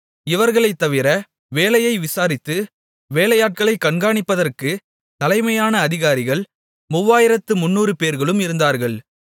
இவர்களைத் தவிர வேலையை விசாரித்து வேலையாட்களைக் கண்காணிப்பதற்குத் தலைமையான அதிகாரிகள் 3300 பேர்களும் இருந்தார்கள்